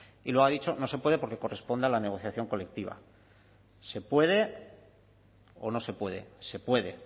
y lo ha dicho no se puede porque corresponde a la negociación colectiva se puede o no se puede se puede